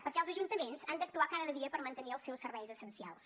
perquè els ajuntaments han d’actuar cada dia per mantenir els seus serveis essencials